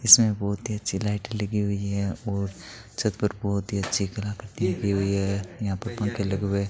इसमें बहुत ही अच्छी लाइट लगी हुई और छत पर बहोत ही अच्छी कला कृति लगी है हुई है यहां पे पंखे लगे हुए --